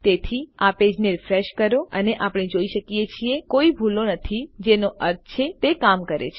તેથી આ પેજને રીફ્રેશ કરો અને આપણે જોઈ શકીએ છીએ કે કોઈ ભૂલો નથી જેનો અર્થ છે તે કામ કરે છે